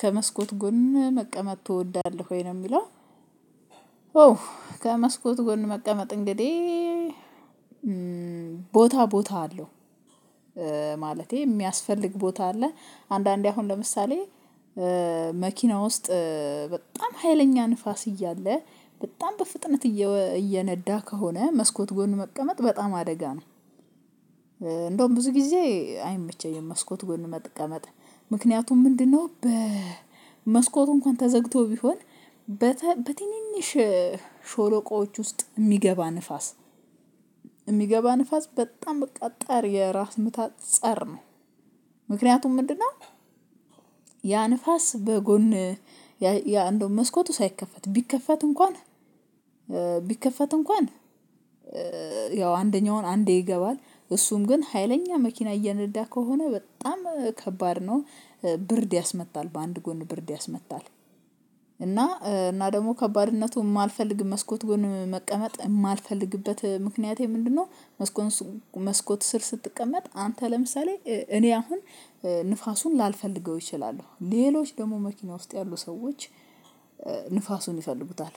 ከመስኮት ጎን መቀመጥ ትወዳለህ ወይ ነው የምለው አው ከመስኮት ጎን መቀመጥ እንግዲህ ቦታ ቦታ አለው ማለቴ የሚያስፈልግ ቦታ አለ አንዳንዴ አሁን ለምሳሌ መኪና ውስጥ በጣም ሀይለኛ ንፋስ እያለ በጣም በፍጥነት እየነዳ ከሆነ መስኮት ጎን መቀመጥ በጣም አደጋ ነው እንደውም ብዙ ጊዜ አይመቸኝም መስኮት ጎን መጠቀመጥ ምክንያቱም ምንድነው በመስኮቱ እንኳን ተዘግቶ ቢሆን በትንንሽ ሾሎቆዎች ውስጥ የሚገባ ንፋስ የሚገባ ንፋስ በጣም በቃ ጠር የራስ ምታ ፀር ነው ምክንያቱም ምንድነው? ያ ንፋስ በጎን እንደው መስኮቱ ሳይከፈት ቢከፈት እንኳን ቢከፈት እንኳን ያው አንደኛውን አንዴ ይገባል። እሱም ግን ሀይለኛ መኪና እየነዳ ከሆነ በጣም ከባድ ነው። ብርድ ያስመታል በአንድ ጎን ብርድ ያስመታል። እና እና ደግሞ ከባድነቱ የማልፈልግ መስኮት ጎን መቀመጥ የማልፈልግበት ምክንያቴ ምንድነው? መስኮት ስር ስትቀመጥ አንተ ለምሳሌ እኔ አሁን ንፋሱን ላልፈልገው እችላለሁ፤ ሌሎች ደግሞ መኪና ውስጥ ያሉ ሰዎች ንፋሱን ይፈልጉታል።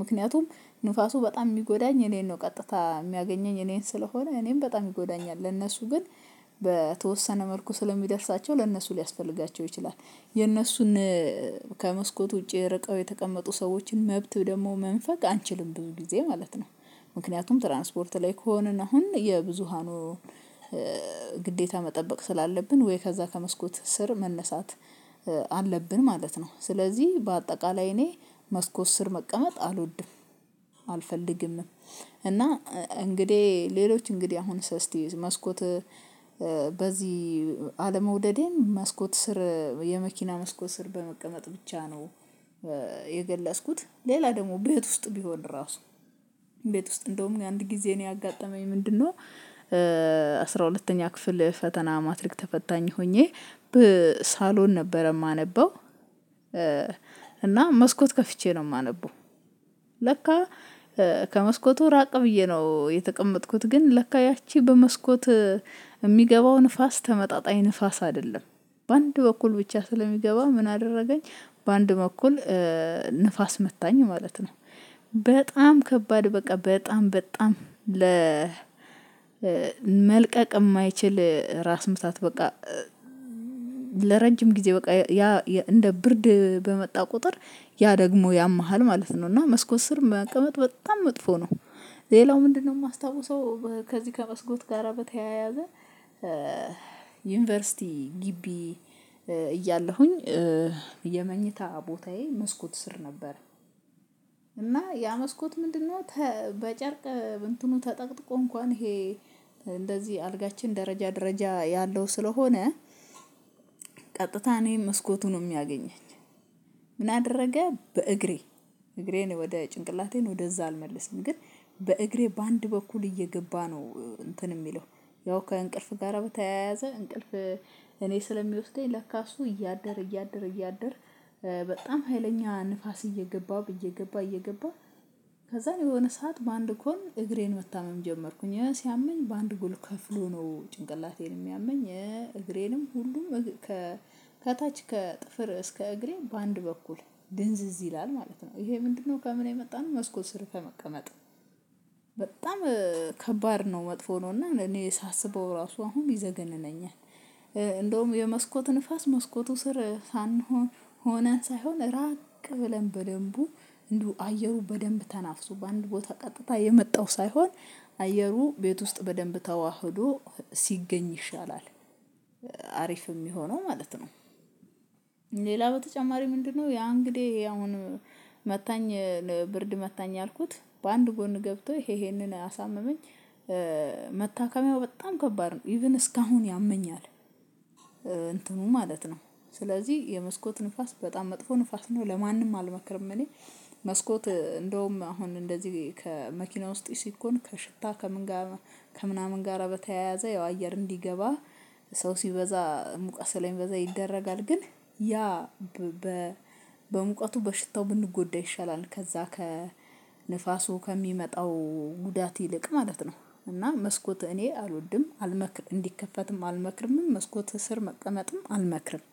ምክንያቱም ንፋሱ በጣም የሚጎዳኝ እኔን ነው። ቀጥታ የሚያገኘኝ እኔን ስለሆነ እኔን በጣም ይጎዳኛል። ለእነሱ ግን በተወሰነ መልኩ ስለሚደርሳቸው ለእነሱ ሊያስፈልጋቸው ይችላል። የእነሱን ከመስኮት ውጪ ርቀው የተቀመጡ ሰዎችን መብት ደግሞ መንፈግ አንችልም ብዙ ጊዜ ማለት ነው። ምክንያቱም ትራንስፖርት ላይ ከሆንን አሁን የብዙሃኑ ግዴታ መጠበቅ ስላለብን ወይ ከዛ ከመስኮት ስር መነሳት አለብን ማለት ነው። ስለዚህ በአጠቃላይ እኔ መስኮት ስር መቀመጥ አልወድም፤ አልፈልግምም። እና እንግዲህ ሌሎች እንግዲህ አሁን ሰስቲ መስኮት በዚህ አለመውደዴን መስኮት ስር የመኪና መስኮት ስር በመቀመጥ ብቻ ነው የገለጽኩት። ሌላ ደግሞ ቤት ውስጥ ቢሆን ራሱ ቤት ውስጥ እንደውም አንድ ጊዜ እኔ ያጋጠመኝ ምንድነው? አስራ ሁለተኛ ክፍል ፈተና ማትሪክ ተፈታኝ ሆኜ በሳሎን ነበረ የማነበው። እና መስኮት ከፍቼ ነው የማነበው። ለካ ከመስኮቱ ራቅ ብዬ ነው የተቀመጥኩት ግን ለካ ያቺ በመስኮት የሚገባው ንፋስ ተመጣጣኝ ንፋስ አይደለም። በአንድ በኩል ብቻ ስለሚገባ ምን አደረገኝ በአንድ በኩል ንፋስ መታኝ ማለት ነው። በጣም ከባድ በቃ በጣም በጣም ለ ለመልቀቅ የማይችል ራስ ምታት በቃ ለረጅም ጊዜ በቃ ያ እንደ ብርድ በመጣ ቁጥር ያ ደግሞ ያምሃል ማለት ነው። እና መስኮት ስር መቀመጥ በጣም መጥፎ ነው። ሌላው ምንድነው የማስታውሰው ከዚህ ከመስኮት ጋር በተያያዘ ዩኒቨርሲቲ ግቢ እያለሁኝ የመኝታ ቦታዬ መስኮት ስር ነበር። እና ያ መስኮት ምንድነው? በጨርቅ እንትኑ ተጠቅጥቆ እንኳን ይሄ እንደዚህ አልጋችን ደረጃ ደረጃ ያለው ስለሆነ ቀጥታ ነው መስኮቱን ነው የሚያገኘኝ። ምን አደረገ በእግሬ እግሬን ወደ ጭንቅላቴን ወደዛ አልመልስም፤ ግን በእግሬ በአንድ በኩል እየገባ ነው እንትን የሚለው። ያው ከእንቅልፍ ጋር በተያያዘ እንቅልፍ እኔ ስለሚወስደኝ ለካ እሱ እያደረ እያደረ እያደረ በጣም ሀይለኛ ንፋስ እየገባ እየገባ እየገባ ከዛ የሆነ ሰዓት በአንድ ጎን እግሬን መታመም ጀመርኩኝ። ሲያመኝ በአንድ ጎን ከፍሎ ነው ጭንቅላቴን የሚያመኝ፤ እግሬንም ሁሉም ከታች ከጥፍር እስከ እግሬ በአንድ በኩል ድንዝዝ ይላል ማለት ነው። ይሄ ምንድነው ከምን የመጣነው መስኮት ስር ከመቀመጥ በጣም ከባድ ነው፤ መጥፎ ነው። እና እኔ ሳስበው ራሱ አሁን ይዘገንነኛል። እንደውም የመስኮት ንፋስ መስኮቱ ስር ሳንሆን ሆነን ሳይሆን ራቅ ብለን በደንቡ እንደው አየሩ በደንብ ተናፍሶ በአንድ ቦታ ቀጥታ የመጣው ሳይሆን አየሩ ቤት ውስጥ በደንብ ተዋህዶ ሲገኝ ይሻላል። አሪፍ የሚሆነው ማለት ነው። ሌላ በተጨማሪ ምንድነው ያ እንግዲህ አሁን መታኝ ብርድ መታኝ አልኩት በአንድ ጎን ገብቶ ይሄንን አሳመመኝ መታከሚያው በጣም ከባድ ነው። ኢቭን እስካሁን ያመኛል እንትኑ ማለት ነው። ስለዚህ የመስኮት ንፋስ በጣም መጥፎ ንፋስ ነው። ለማንም አልመክርም እኔ። መስኮት እንደውም አሁን እንደዚህ ከመኪና ውስጥ ሲኮን ከሽታ ከምን ጋር ከምናምን ጋር በተያያዘ ያው አየር እንዲገባ ሰው ሲበዛ ሙቀቱ ስለሚበዛ ይደረጋል። ግን ያ በሙቀቱ በሽታው ብንጎዳ ይሻላል። ከዛ ከንፋሱ ከሚመጣው ጉዳት ይልቅ ማለት ነው። እና መስኮት እኔ አልወድም፤ አልመክርም እንዲከፈትም አልመክርምም መስኮት እስር መቀመጥም አልመክርም።